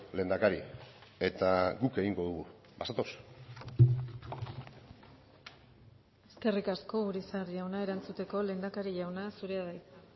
lehendakari eta guk egingo dugu bazatoz eskerrik asko urizar jauna erantzuteko lehendakari jauna zurea da hitza